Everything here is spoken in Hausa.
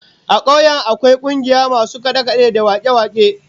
A kauyen su akwai kungiyar masu kade-kade da wake-wake